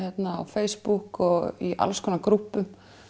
á Facebook og í alls konar grúppum